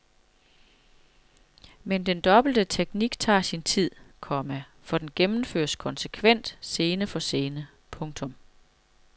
Men den dobbelte teknik tager sin tid, komma for den gennemføres konsekvent scene for scene. punktum